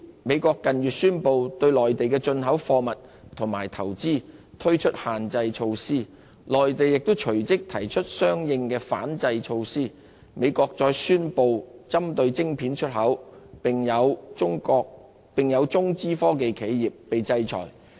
美國近月宣布對內地的進口貨物及投資推出限制措施，內地亦隨即提出相應的反制措施，美國則再宣布針對晶片出口的措施，一些中資科技企業更受到制裁。